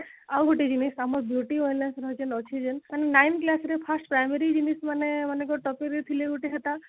ଆଉ ଗୋଟେ ବି ତମ beauty ୱାଲାଙ୍କର ଯେନ ଅଛି ଯେନ ମାନେ nine class ରେ first primary ରେ ମାନେ ମାନଙ୍କର topic ରେ ଥିଲେ ଗୋଟେ ସେଟା